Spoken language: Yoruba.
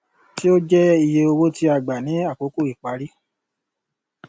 tí ó jẹ iye owó tí a gbà ní àkókò ìparí